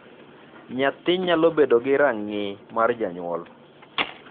Nyathi nyalo bedo ka rang'ii mar janyuol.